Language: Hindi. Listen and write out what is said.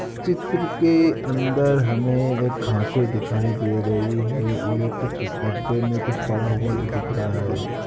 चित्र के अंदर हमें एक घासें दिखाई दे रही हैं और एक कुछ डब्बे में कुछ पड़ा हुआ जो दिख रहा है।